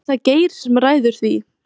Er það Geir sem ræður því?